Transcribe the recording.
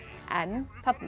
en